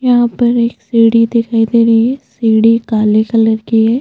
यहाँ पर एक सीढ़ी दिखाई दे रही है सीढ़ी काले कलर की है।